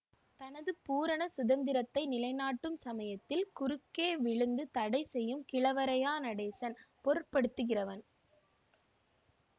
தனது பூரண சுதந்திரத்தை நிலைநாட்டும் சமயத்தில் குறுக்கே விழுந்து தடை செய்யும் கிழவரையா நடேசன் பொருட்படுத்துகிறவன்